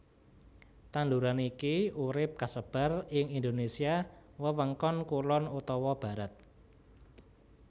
Tanduran iki urip kasebar ing Indonésia wewengkon kulon utawa barat